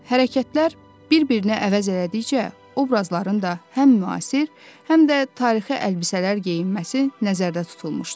Hərəkətlər bir-birini əvəz elədikcə, obrazların da həm müasir, həm də tarixi əlbisələr geyinməsi nəzərdə tutulmuşdu.